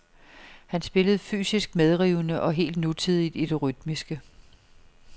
Han spillede fysisk medrivende og helt nutidigt i det rytmiske.